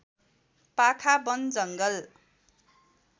पाखा वन जङ्गल